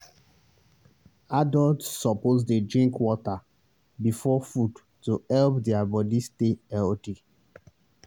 adults suppose dey drink water before food to help their body stay healthy.